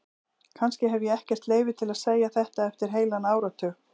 Kannski hef ég ekkert leyfi til að segja þetta eftir heilan áratug.